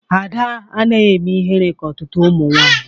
Ada anaghị eme ịhere ka ọtụtụ ụmụ nwanyị